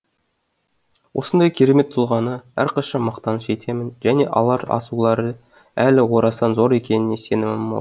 осындай керемет тұлғаны әрқашан мақтаныш етемін және алар асулары әлі орасан зор екеніне сенімім мол